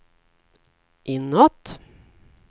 inåt